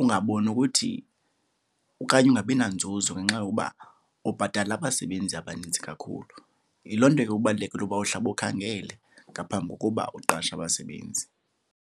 ungaboni nokuthi okanye ungabi nanzuzo ngenxa yokuba ubhatala abasebenzi abaninzi kakhulu. Yiloo nto ke kubalulekile ukuba uhlabe ukhangele ngaphambi kokuba uqashe abasebenzi.